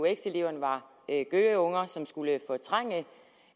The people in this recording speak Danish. eux eleverne var gøgeunger som skulle fortrænge